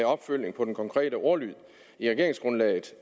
opfølgning på den konkrete ordlyd i regeringsgrundlaget